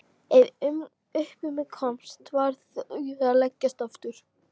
Ef upp um mig komst varð ég að leggjast aftur.